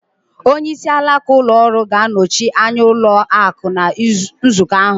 Onyeisi alaka ụlọ ọrụ ga-anọchi anya ụlọ akụ̀ ná nzukọ ahụ